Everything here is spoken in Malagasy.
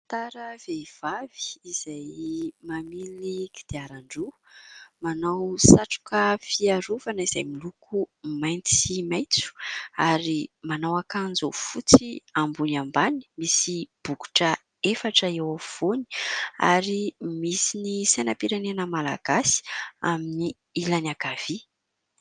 "Motard" vehivavy izay mamily kodiarandroa. Manao satroka fiarovana izay miloko mainty sy maitso ary manao akanjo fotsy ambony ambany, misy bokotra efatra eo afovoany ary misy ny sainam-pirenena Malagasy amin'ny ilany ankavia.